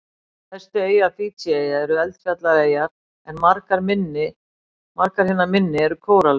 Stærstu eyjar Fídjieyja eru eldfjallaeyjar en margar hinna minni eru kóralrif.